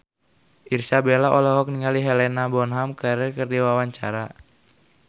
Irish Bella olohok ningali Helena Bonham Carter keur diwawancara